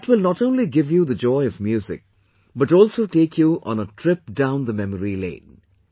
That will not only give you the joy of music, but also take you on a trip down the memory lane